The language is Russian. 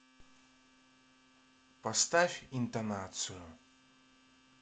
поставь интонацию